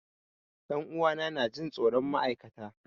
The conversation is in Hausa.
Ɗan uwa na na Jin tsoron ma'aikata.